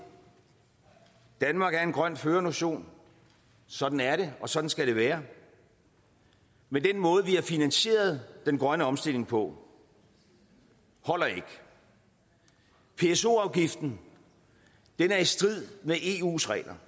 danmark er en grøn førernation sådan er det og sådan skal det være men den måde vi har finansieret den grønne omstilling på holder ikke pso afgiften er i strid med eus regler